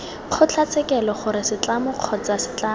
kgotlatshekelo gore setlamo kgotsa setlamo